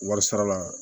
Wari sarala